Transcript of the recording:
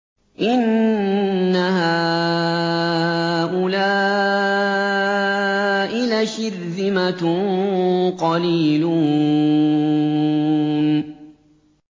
إِنَّ هَٰؤُلَاءِ لَشِرْذِمَةٌ قَلِيلُونَ